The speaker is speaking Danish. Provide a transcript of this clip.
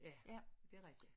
Ja det rigtigt